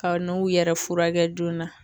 Ka n'u yɛrɛ furakɛ joona